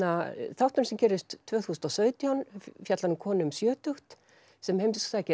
þátturinn sem gerist tvö þúsund og sautján fjallar um konu um sjötugt sem heimsækir